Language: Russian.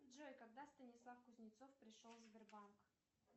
джой когда станислав кузнецов пришел в сбербанк